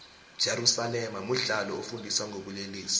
jerusalema mudlalo ofundisa ngobulelesi